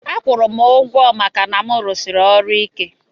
Akwurum ugwo maka na mu rụsiri ọrụ ike.